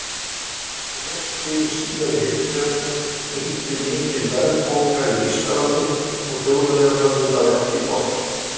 Rétt fyrir síðari heimsstyrjöldina ríkti mikil verðbólga í Þýskalandi og Þjóðverjar höfðu það ekki gott.